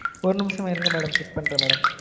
ஒரு நிமிசம் இருங்க madam check பண்றன் madam